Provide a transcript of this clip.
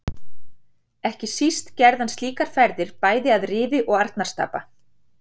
Ekki síst gerði hann slíkar ferðir bæði að Rifi og Arnarstapa.